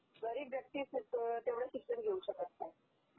गरीब व्यक्ति तेवढ शिक्षण घेऊ शकत नाही